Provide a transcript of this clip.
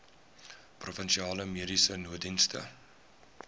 provinsiale mediese nooddienste